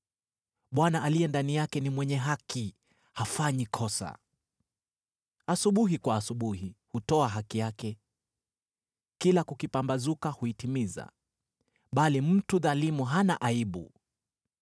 Bwana aliye ndani yake ni mwenye haki, hafanyi kosa. Asubuhi kwa asubuhi hutoa haki yake, kila kukipambazuka huitimiza, bali mtu dhalimu hana aibu.